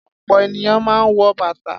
Ọ̀pọ̀ ènìyàn máa ń wọ bàtà.